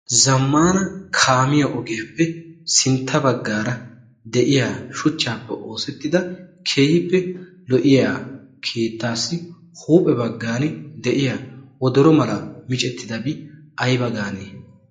Zammaana kaamiya ogiyaappe sintta baggaara de'iya shuchchaappe oosettida keehippe lo'iya keettaassi huuphee baggaani de'iya wodoro mala micettidabi ayiba gaanee?